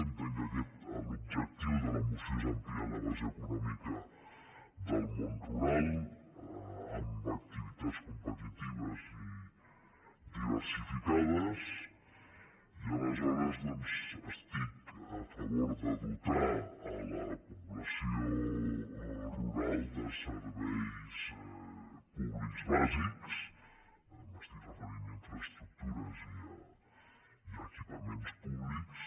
entenc que l’objectiu de la moció és ampliar la base econòmica del món rural amb activitats competitives i diversificades i aleshores doncs estic a favor de dotar la població rural de serveis públics bàsics m’estic referint a infraestructures i a equipaments públics